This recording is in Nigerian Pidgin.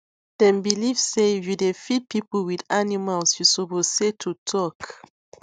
dem believe say if you dey feed people with animals you suppose say to talk